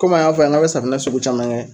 Kom'an y'a fɔ yan n k'an bɛ safinɛ sugu caman kɛ